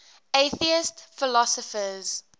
atheist philosophers